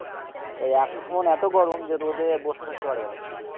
তাই এখন এত গরমে রোদে বসে থাকতে পারবে না তুমি,